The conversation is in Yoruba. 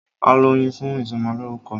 A lọ Oyin fún ìsọmọlórúkọ.